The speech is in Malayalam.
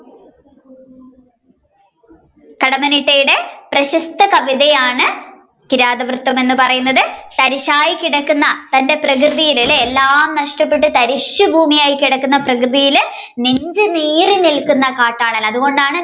കടമ്മനിട്ടയുടെ പ്രശസ്‌ത കവിതയാണ് കിരാതവൃത്തം എന്ന് പറയുന്നത് തരിശായി കിടക്കുന്ന തന്റെ പ്രകൃതിയിൽ എല്ലാം നഷ്ടപ്പെട്ടു തരിശു ഭൂമി ആയി കിടക്കുന്ന പ്രകൃതിയിൽ നെഞ്ചു നീറി നിൽക്കുന്ന കാട്ടാളൻ അതുകൊണ്ടാണ്